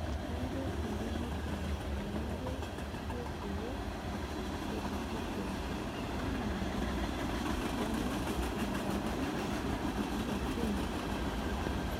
Keata kulie nutrient nayieu kulie kiek tekitisho enaa boron, manganese oo zink.